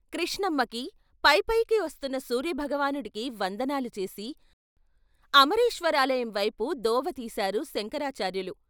కృష్ణమ్మకి, పై పైకి వస్తున్న సూర్య భగవానుడికి వందనాలు చేసి అమరేశ్వరాలయం వైపు దోవతీశారు శంకరాచార్యులు.